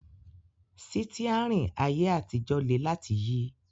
Sítíárìn ayé àtijọ́ le láti yí